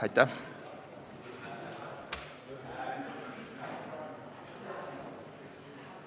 Aitäh!